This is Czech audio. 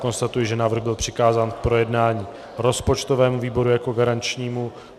Konstatuji, že návrh byl přikázán k projednání rozpočtovému výboru jako garančnímu.